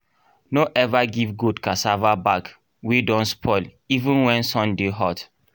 no ever give goat cassava back wey don spoil even when sun dey hot